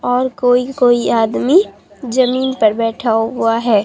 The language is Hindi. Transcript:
और कोई कोई आदमी जमीन पर बैठा हुआ है।